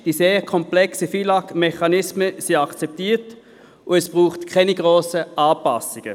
Die sehr komplexen FILAG-Mechanismen sind akzeptiert, und es braucht keine grossen Anpassungen.